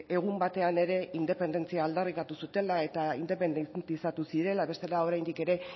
egun batean ere independentzia aldarrikatu zutela eta independizatu zirela bestela oraindik ere